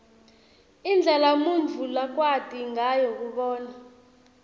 indlela umuntfu lakwati ngayo kubona